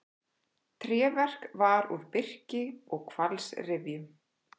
Tréverk var úr birki og hvalsrifjum.